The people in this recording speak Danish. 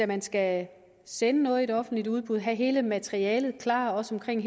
man skal sende noget i offentligt udbud og have hele materialet klar også omkring